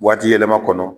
Waati yɛlɛma kɔnɔ